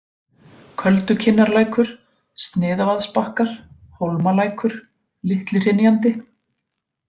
Köldukinnarlækur, Sniðavaðsbakkar, Hólmalækur, Litli-Hrynjandi